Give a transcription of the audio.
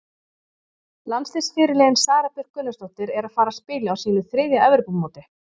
Landsliðsfyrirliðinn Sara Björk Gunnarsdóttir er að fara að spila á sínu þriðja Evrópumóti.